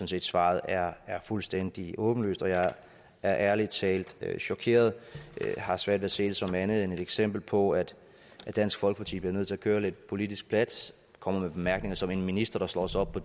set svaret er fuldstændig åbenlyst og jeg er ærlig talt chokeret og har svært ved at se det som andet end et eksempel på at dansk folkeparti bliver nødt til at køre lidt politisk plat kommer med bemærkninger som en minister der slår sig op på